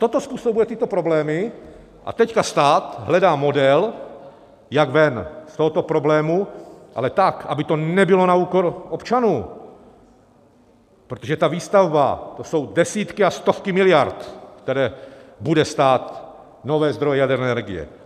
Toto způsobuje tyto problémy a teď stát hledá model, jak ven z tohoto problému, ale tak, aby to nebylo na úkor občanů, protože ta výstavba, to jsou desítky a stovky miliard, které budou stát nové zdroje jaderné energie.